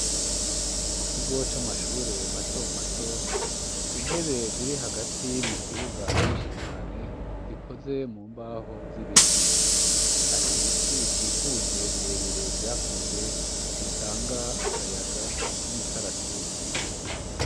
Mu kigo c'amashure mato mato intebe ziri hagati mu kibuga nyinshi cane zikoze mu mbaho z'ibiti hari ibiti bikikuje bire bire vyakuze bitanga akayaga k'imikaratusi.